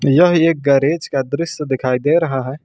यह एक गैरेज का दृश्य दिखाई दे रहा है।